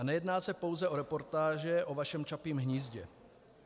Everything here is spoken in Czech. A nejedná se pouze o reportáže o vašem Čapím hnízdě.